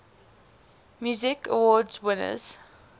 music awards winners